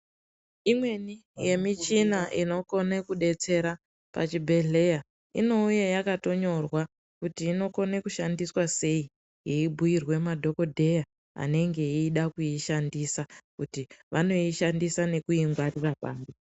Imweni yemichina inokone kudetsera pachibhedhleya inouye yakatonyorwa kuti inokone kushandiswa sei yeibhuyirwe madhokodheya anenge eide kuishandisa kuti vanoishandisa nekuingwarira pari.